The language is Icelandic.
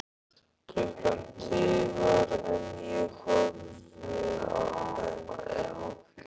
Klukkan tifar en ég horfi enn.